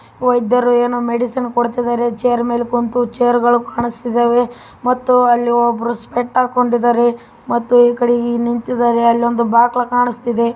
ವೈದ್ಯರು ಏನೋ ಮೆಡಿಸಿನ್‌ ಕೋಡ್ತಾ ಇದ್ದಾರೆ ಚೇರ್‌ ಮೇಲೆ ಕುಂತು ಚೇರ್ ಗಳು ಕಾಣಸ್ತಿದವೇ ಮತ್ತೆ ಅಲ್ಲಿ ಒಬ್ರು ಸ್ಪೆಕ್ಟ್ ಹಾಕಿಕೊಂಡಿದ್ದಾರೆ ಮತ್ತೆ ಈ ಕಡೆ ನಿಂತಿದ್ದಾರೆ ಅಲ್ಲಿ ಒಂದು ಬಾಗಿಲು ಕಾಣಿಸ್ತಾ ಇದೆ.